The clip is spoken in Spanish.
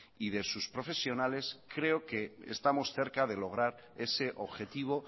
y de sus profesionales creo que estamos cerca de lograr ese objetivo